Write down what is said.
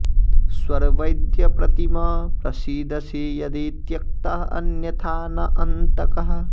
स्वर् वैद्य प्रतिम प्रसीदसि यदि त्यक्तः अन्यथा न अन्तकः